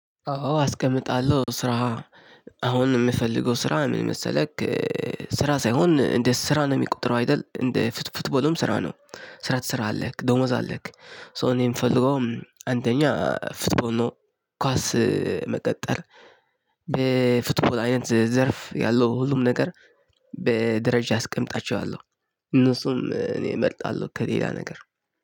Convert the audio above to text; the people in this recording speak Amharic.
አዎ አስቀምጣለሁ ስራ አሁን የምፈልገው ስራ ምን መሰለህ? ስራ ሳይሆን እንደ ስራ ነው የሚቆጥረው አይደል? እንደ ፉትቦልም ስራ ነው ስራ ትሰራለህ ደሞዝ አለህ? ሶ እኔ የምፈልገው አንደኛ ፉትቦል ነው። ኳስ መቀጠር። በፉትቦል አይነት ዘርፍ ያለው ሁሉም ነገር። በደረጃ አስቀምጣቸዋለሁ እነሱም እኔ እመርጣለሁ ከሌላ ነገር